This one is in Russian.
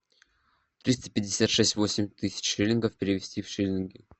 триста пятьдесят шесть восемь тысяч шиллингов перевести в шиллинги